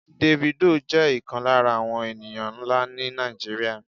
Davido jẹ́ ìkan lára àwọn ènìyàn nlâ ni Nàìjíríà